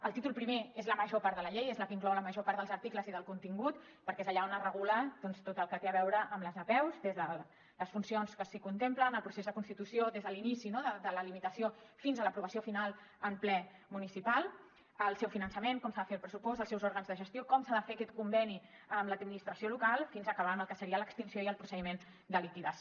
el títol primer és la major part de la llei és la que inclou la major part dels articles i del contingut perquè és allà on es regula doncs tot el que té a veure amb les apeus des de les funcions que s’hi contemplen i el procés de constitució des de l’inici de la limitació fins a l’aprovació final en ple municipal el seu finançament com s’ha de fer el pressupost els seus òrgans de gestió com s’ha de fer aquest conveni amb l’administració local fins a acabar amb el que seria l’extinció i el procediment de liquidació